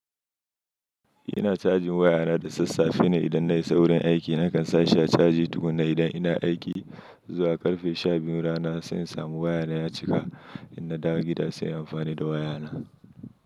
Ina cajin wayana da sassafe ne idan na i sawurin aiki. Nakan sa shi a caji tukun na idan ina aiki zuwa karfe sha biyun rana, sai in samu wayana ya cika. In na dawo gida sai in amfani da wayana.